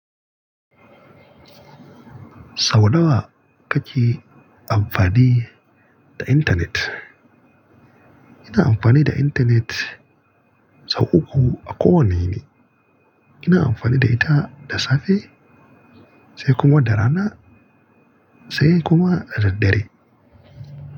Sau nawa kake amfani da intanet? Ina amfani da intanet sau uku a kowane yini. Ina amfani da ita da safe, sai kuma da rana, sai kuma da daddare.